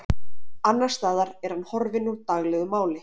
Annars staðar er hann horfinn úr daglegu máli.